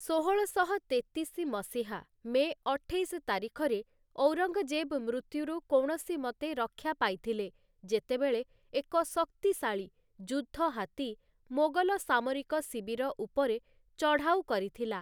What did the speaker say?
ଷୋହଳଶହ ତେତିଶି ମସିହା ମେ ଅଠେଇଶ ତାରିଖରେ, ଔରଙ୍ଗଜେବ୍ ମୃତ୍ୟୁରୁ କୌଣସି ମତେ ରକ୍ଷା ପାଇଥିଲେ ଯେତେବେଳେ ଏକ ଶକ୍ତିଶାଳୀ ଯୁଦ୍ଧ ହାତୀ ମୋଗଲ ସାମରିକ ଶିବିର ଉପରେ ଚଢ଼ଉ କରିଥିଲା ।